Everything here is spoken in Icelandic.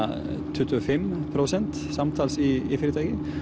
tuttugu og fimm prósent samtals í fyrirtækinu